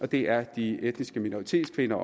det er de etniske minoritetskvinder